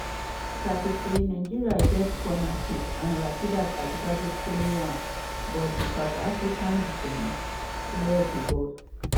30' nigeria get corner kick and rasheedat ajibade play am but di south african defence clear di ball.